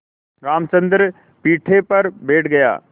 रामचंद्र पीढ़े पर बैठ गया